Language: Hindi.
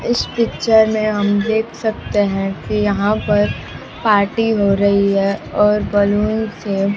इस पिक्चर में हम देख सकते हैं कि यहां पर पार्टी हो रही है और बलून से--